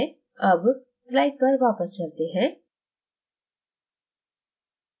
अब slide पर वापस चलते हैं